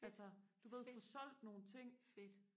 altså du ved får solgt nogle ting